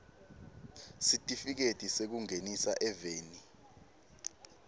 sitifiketi sekungenisa eveni